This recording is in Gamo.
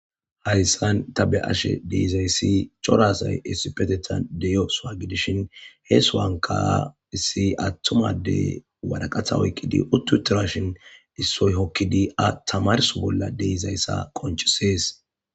hayssan ta be7ashe de7izayssi cora asay essipetethan de7iyo suwa gidishin he sohuwanka issi attuma adey waraqatha oykkidi utti utirashin issoy hokkidi a tamarso bolla deizayssa qonchesees